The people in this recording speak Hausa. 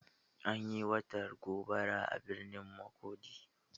Anyi wata gobara a birnin Makurdi.